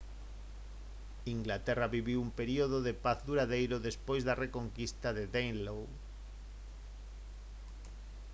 inglaterra viviu un período de paz duradeiro despois da reconquista de danelaw